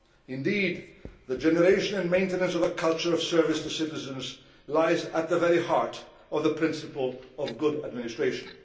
Indeed, the generation and maintenance of a culture of service to citizens lies at the very heart of the principle of good administration.